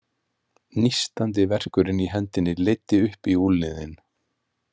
Nístandi verkurinn í hendinni leiddi upp í úlnliðinn.